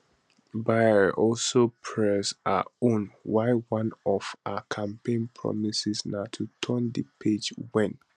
baier also press her on why one of her campaign promises na to turn di page wen